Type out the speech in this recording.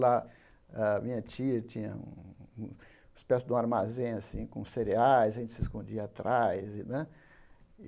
Lá, a minha tia tinha uma espécie de armazém assim com cereais, a gente se escondia atrás e né.